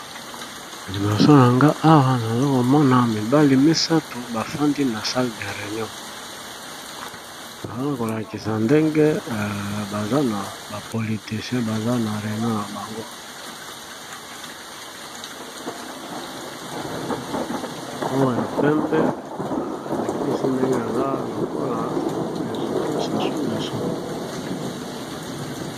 Liboso yanga awa naza komona mibali misato bafandi na salle de reinion, bazala kolakisa ndenge baza na ba politecien baza na reinion na bangooya pembe alakisi ndenge aza lokola residant sasungeso.